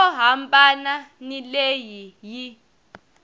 yo hambana ni leyi yi